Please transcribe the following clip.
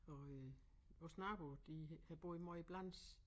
Og øh vores nabo de havde boet måj i Blans